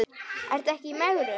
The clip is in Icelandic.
Ertu ekki í megrun?